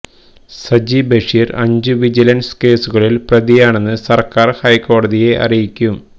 സജി ബഷീര് അഞ്ച് വിജിലന്സ് കേസുകളില് പ്രതിയാണെന്ന് സര്ക്കാര് ഹൈക്കോടതിയെ അറിസിക്കും